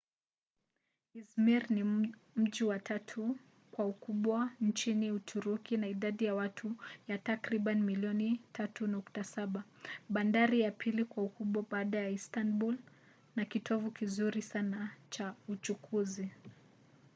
izmir ni mji wa tatu kwa ukubwa nchini uturuki na idadi ya watu ya takribani milioni 3.7 bandari ya pili kwa ukubwa baada ya istanbul na kitovu kizuri sana cha uchukuzi